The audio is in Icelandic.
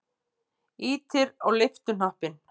Ýtir á lyftuhnappinn.